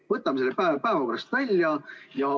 Võtame selle päevakorrast välja!